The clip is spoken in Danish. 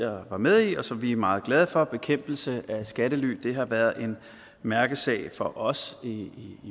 var med i og som vi er meget glade for bekæmpelse af skattely har været en mærkesag for os i enhedslisten i